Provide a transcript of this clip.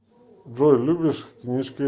джой любишь книжки